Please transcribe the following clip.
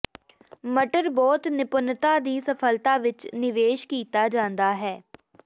ਮਟਰ ਬਹੁਤ ਨਿਪੁੰਨਤਾ ਦੀ ਸਫਲਤਾ ਵਿੱਚ ਨਿਵੇਸ਼ ਕੀਤਾ ਜਾਂਦਾ ਹੈ